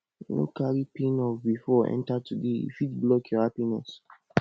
no carry pain of bifor enta today e fit block your happiness